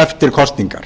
eftir kosningar